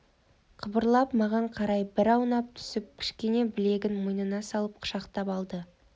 қыбырлап маған қарай бір аунап түсіп кішкене білегін мойныма салып құшақтап алды